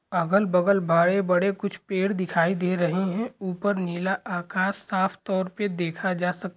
अगल बगल बड़े-बड़े कुछ पेड़ दिखाई दे रहे है ऊपर नीला आकाश साफ तौर पर देखा जा सक----